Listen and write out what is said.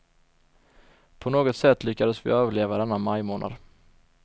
På något sätt lyckades vi överleva denna majmånad.